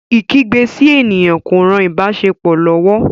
Ikígbe sí ènìyàn kò rán ìbáṣepọ lówó.